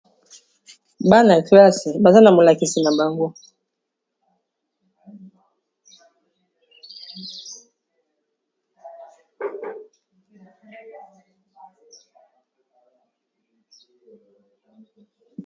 Bana klasse baza na molakisi na bango